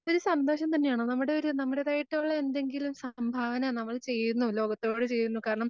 ഒരു സന്തോഷം തന്നെയാണ് നമ്മുടെയൊരു നമ്മുടേതായിട്ടുള്ള എന്തെങ്കിലും സംഭാവന നമ്മൾ ചെയ്യുന്നു ലോകത്തോട് ചെയ്യുന്നു. കാരണം,